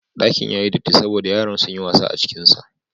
Ɗakin ya yi datti saboda yaran sun yi wasa a cikinsa.